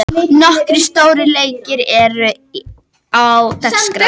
Nokkrir stórir leikir eru á dagskrá.